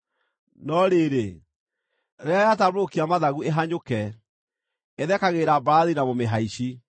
No rĩrĩ, rĩrĩa yatambũrũkia mathagu ĩhanyũke, ĩthekagĩrĩra mbarathi na mũmĩhaici.